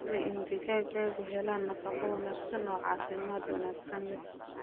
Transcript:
Hubi in digaaggu helaan nafaqo wanaagsan oo caafimaad wanaagsan leh.